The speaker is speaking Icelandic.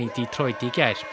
gær